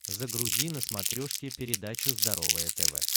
загрузи на смотрешке передачу здоровое тв